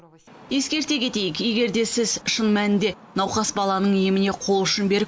ескерте кетейік егер де сіз шын мәнінде науқас баланың еміне қол ұшын беріп